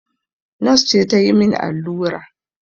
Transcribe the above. Nos ce ta yi min allura